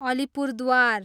Alipurduar